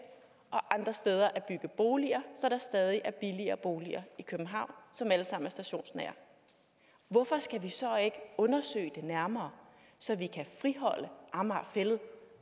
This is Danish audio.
og andre steder at bygge boliger så der stadig er billige boliger i københavn som alle sammen er stationsnære hvorfor skal vi så ikke undersøge det nærmere så vi kan friholde amager fælled